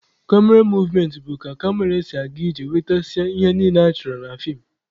Kamera movementị bụ ka kamera si aga iji nwetasịa ihe niile achọrọ na feem.